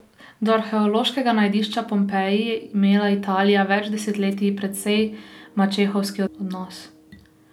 Do arheološkega najdišča Pompeji je imela Italija več desetletij precej mačehovski odnos.